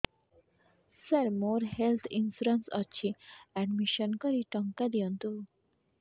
ସାର ମୋର health insurance ଅଛି admission କରି ଟଙ୍କା ଦିଅନ୍ତୁ